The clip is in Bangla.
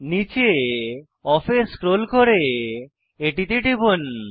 নীচে অফ এ স্ক্রোল করে এটিতে টিপুন